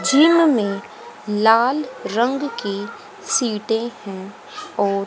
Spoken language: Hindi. यहां में लाल रंग की सीटे हैं और--